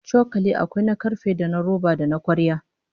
Cokali akwai na karfe, da na roba, da na kwarya